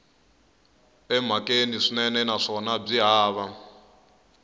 emhakeni swinene naswona byi hava